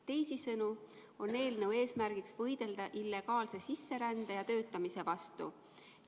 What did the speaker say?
Teisisõnu on eelnõu eesmärk võidelda illegaalse sisserände ja töötamise vastu.